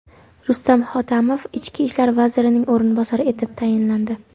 Rustam Hotamov Ichki ishlar vazirining o‘rinbosari etib tayinlandi.